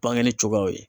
Bange cogoyaw ye